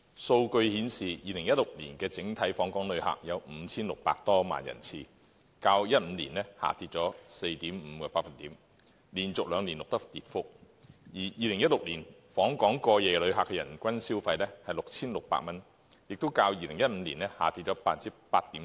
數據顯示 ，2016 年的整體訪港旅客有 5,600 多萬人次，較2015年下跌 4.5%， 連續兩年錄得跌幅，而2016年訪港過夜旅客的人均消費是 6,600 元，亦較2015年下跌 8.7%。